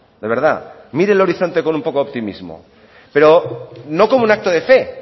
de verdad mire el horizonte con un poco de optimismo pero no como un acto de fe